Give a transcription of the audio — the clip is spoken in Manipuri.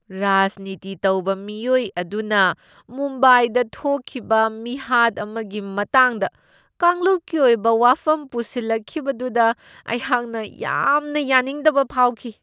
ꯔꯥꯖꯅꯤꯇꯤ ꯇꯧꯕ ꯃꯤꯑꯣꯏ ꯑꯗꯨꯅ ꯃꯨꯝꯕꯥꯏꯗ ꯊꯣꯛꯈꯤꯕ ꯃꯤꯍꯥꯠ ꯑꯃꯒꯤ ꯃꯇꯥꯡꯗ ꯀꯥꯡꯂꯨꯞꯀꯤ ꯑꯣꯏꯕ ꯋꯥꯐꯝ ꯄꯨꯁꯜꯂꯛꯈꯤꯕꯗꯨꯗ ꯑꯩꯍꯥꯛꯅ ꯌꯥꯝꯅ ꯌꯥꯅꯤꯡꯗꯕ ꯐꯥꯎꯈꯤ ꯫